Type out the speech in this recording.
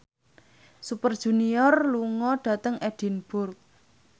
Super Junior lunga dhateng Edinburgh